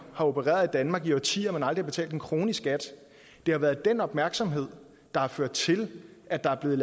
har opereret i danmark i årtier men aldrig har betalt en krone i skat det har været den opmærksomhed der har ført til at der er blevet